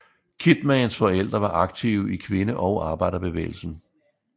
Kidmans forældre var aktive i kvinde og arbejderbevægelsen